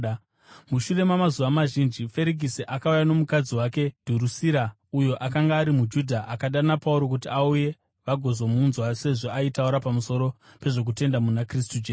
Mushure mamazuva mazhinji, Ferikisi akauya nomukadzi wake Dhurusira, uyo akanga ari muJudha. Akadana Pauro kuti auye vagozomunzwa sezvo aitaura pamusoro pezvokutenda muna Kristu Jesu.